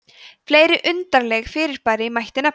fleiri undarleg fyrirbæri mætti nefna